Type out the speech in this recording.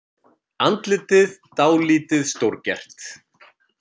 Andlitið dálítið stórgert.